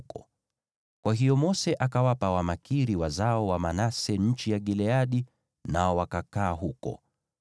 Kwa hiyo Mose akawapa Wamakiri, wazao wa Manase, nchi ya Gileadi, nao wakakaa huko.